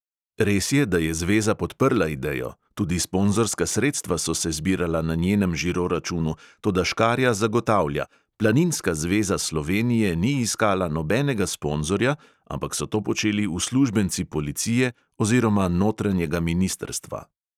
Res je, da je zveza podprla idejo, tudi sponzorska sredstva so se zbirala na njenem žiro računu, toda škarja zagotavlja: planinska zveza slovenije ni iskala nobenega sponzorja, ampak so to počeli uslužbenci policije oziroma notranjega ministrstva.